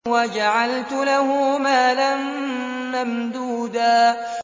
وَجَعَلْتُ لَهُ مَالًا مَّمْدُودًا